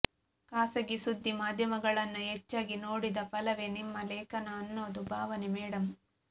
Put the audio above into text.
ಖಾಸಗಿ ಸುದ್ದಿ ಮಾಧ್ಯಮಗಳನ್ನ ಹೆಚ್ಚಾಗಿ ನೋಡಿದ ಫಲವೇ ನಿಮ್ಮ ಲೇಖನ ಅನ್ನೋದು ಭಾವನೆ ಮೇಡಂ